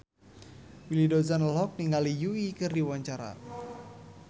Willy Dozan olohok ningali Yui keur diwawancara